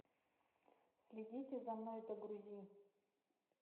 следите за мной загрузи